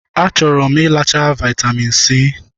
Achọrọ m iịacha vitamin C.